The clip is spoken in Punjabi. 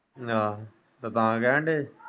ਵਾਹ ਤੇ ਤਾਂ ਕਹਿਣ ਦੇ ਹੀ।